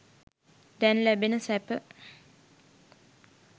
දැන් ලැබෙන සැප.